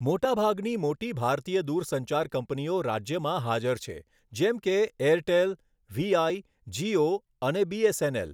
મોટાભાગની મોટી ભારતીય દુરસંચાર કંપનીઓ રાજ્યમાં હાજર છે, જેમ કે એરટેલ, વીઆઇ, જીઓ અને બીએસએનએલ.